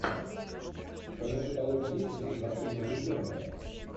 в твоем каталоге есть безрассудно влюбленные